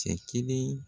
Cɛ kelen